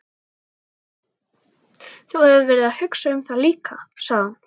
Þú hefur verið að hugsa um það líka, sagði hún.